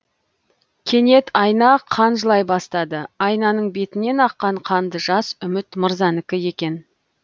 кенет айна қан жылай бастады айнаның бетінен аққан қанды жас үміт мырзанікі екен